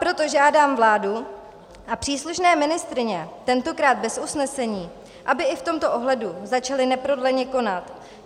Proto žádám vládu a příslušné ministryně, tentokrát bez usnesení, aby i v tomto ohledu začaly neprodleně konat.